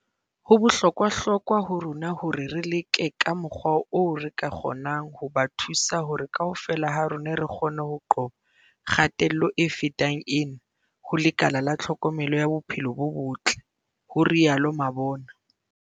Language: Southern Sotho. "Ho bohlokwa hlokwa ho rona hore re leke ka mokgwa oo re ka kgonang ho ba thusa hore kaofela ha rona re kgone ho qoba kgatello e fetang ena ho lekala la tlhokomelo ya bophelo bo botle," ho rialo Mabona.